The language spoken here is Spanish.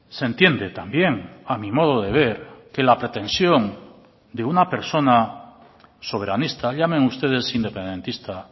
se entiende también a mi modo de ver que la pretensión de una persona soberanista llamen ustedes independentista